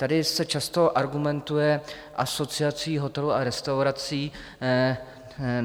Tady se často argumentuje Asociací hotelů a restaurací.